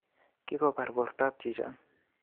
Kikobar bortap chichon